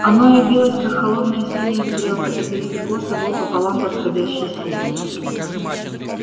оно явилось как холодная синяя стрелка и пересекло собой пополам восходящее солнце